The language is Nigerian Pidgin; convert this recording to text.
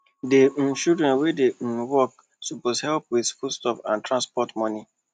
di um children wey um dey work suppose help with foodstuff and transport money